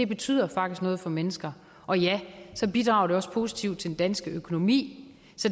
betyder faktisk noget for mennesker og ja så bidrager det også positivt til den danske økonomi